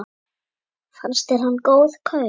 Fannst þér hann góð kaup?